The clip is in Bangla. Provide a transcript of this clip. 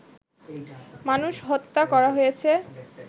মানুষ হত্যা করা হয়েছে